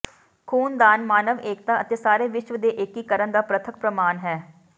ਖੂਨਦਾਨ ਮਾਨਵ ਏਕਤਾ ਅਤੇ ਸਾਰੇ ਵਿਸ਼ਵ ਦੇ ਏਕੀਕਰਨ ਦਾ ਪ੍ਰਤੱਖ ਪ੍ਰਮਾਣ ਹੈ